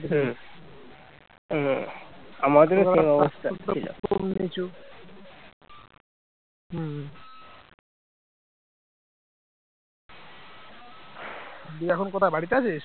দিয়ে এখন কোথায়? বাড়িতে আছিস